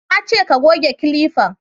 Na ce ka goge kilifan!